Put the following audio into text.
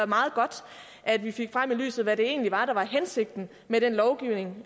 meget godt at vi fik frem i lyset hvad det egentlig var der var hensigten med den lovgivning